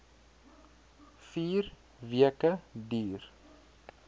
vier weke duur